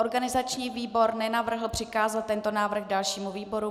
Organizační výbor nenavrhl přikázat tento návrh dalšímu výboru.